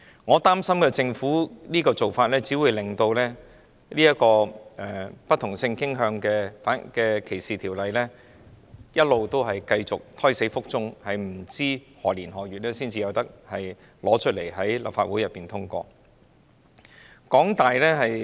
我擔心政府這種做法只會令關於不同性傾向歧視的法例一直胎死腹中，不知在何年何月才向立法會提交法案並獲得通過。